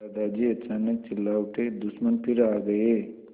दादाजी अचानक चिल्ला उठे दुश्मन फिर आ गए